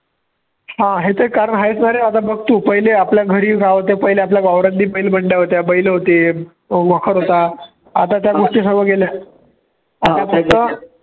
हा आहे ते कारण आहेच बारे आता बघ तू पहिले आपल्या घरी काय होत्या, पहिले आपल्या वावरात बी पहिले बंड्या होत्या, बैलं होते, अं मखर होता आता त्या गोष्टी सर्व गेल्या